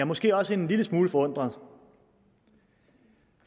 måske også en lille smule forundret